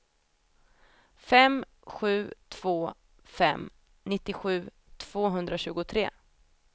fem sju två fem nittiosju tvåhundratjugotre